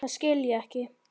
Það skil ég ekki.